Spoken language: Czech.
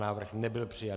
Návrh nebyl přijat.